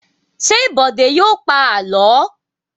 Ṣé Bọ̀dé yóò pa àlọ́?